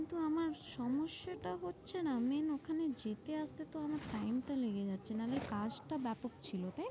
কিন্তু আমার সমস্যাটা হচ্ছে না main ওখানে যেতে আসতে তো আমার time টা লেগে যাচ্ছে, নালে কাজটা ব্যাপক ছিল তাই না।